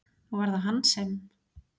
Og var það hann sem?